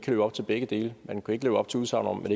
leve op til begge dele man kunne ikke leve op til udsagnet